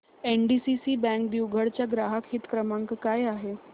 NDCC bank दिघवड चा ग्राहक हित क्रमांक काय आहे